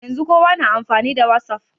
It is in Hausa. Yanzun kowa na amfani da whatsapp